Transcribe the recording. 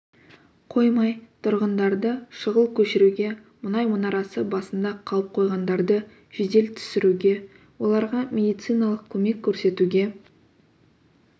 қоймай тұрғындарды шұғыл көшіруге мұнай мұнарасы басында қалып қойғандарды жедел түсіруге оларға медициналық көмек көрсетуге